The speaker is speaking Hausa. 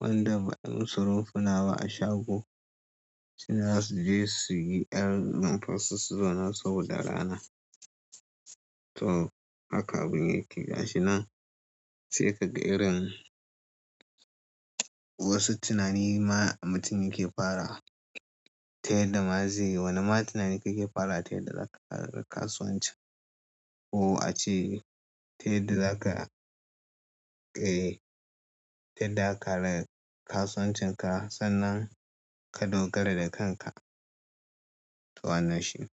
Wanda ba ai mu su rumfuna ba a shago, sune za su je su yi ƴar rumfan su zo su, su zauna saboda rana. To haka abun yake gashi nan sai ka ga irin wasu tunani ma mutum yake fara ta yadda ma zai. Wane ma tunani kake fara ta yadda za ka kasuwanci ko a ce ta yadda za ka, eh, ta yadda yaka kasuwancinka sannan ka dogara da kanka. To wannan shi.